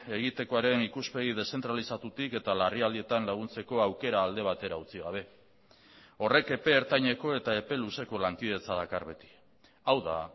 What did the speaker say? egitekoaren ikuspegi deszentralizatutik eta larrialdietan laguntzeko aukera alde batera utzi gabe horrek epe ertaineko eta epe luzeko lankidetza dakar beti hau da